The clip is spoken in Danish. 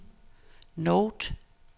note